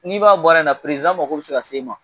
N'i b'a baara in na mago bɛ se ka se i ma